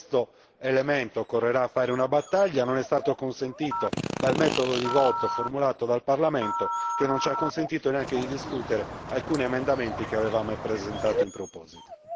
Su questo elemento occorrerà dare battaglia, cosa che non è stato consentita dal metodo di votazione formulato dal Parlamento, che non ci ha permesso neppure di discutere alcuni emendamenti che avevamo presentato in proposito.